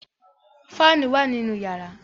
Fáànù wà nínú yàrá.